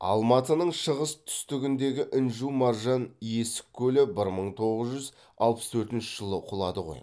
алматының шығыс түстігіндегі інжу маржан есік көлі бір мың тоғыз жүз алпыс төртінші жылы құлады ғой